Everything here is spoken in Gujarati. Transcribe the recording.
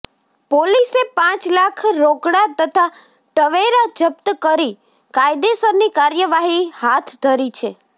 પોલીસે પાંચ લાખ રોકડા તથા ટવેરા જપ્ત કરી કાયદેસરની કાર્યવાહી હાથ ધરી છે